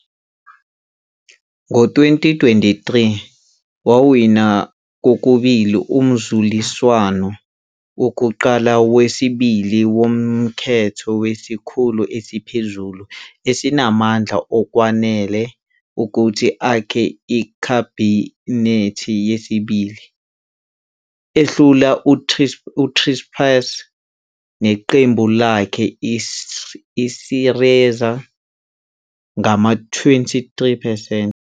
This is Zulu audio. Ngo-2023 wawina kokubili umzuliswano wokuqala nowesibili wokhetho ngesikhulu esiphezulu esinamandla okwanele ukuthi akhe ikhabhinethi yesibili, ehlula uTsipras neqembu lakhe iSYRIZA ngama-23 percent.